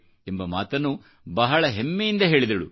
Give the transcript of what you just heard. ಎಂಬ ಮಾತನ್ನು ಬಹಳ ಹೆಮ್ಮೆಯಿಂದ ಹೇಳಿದಳು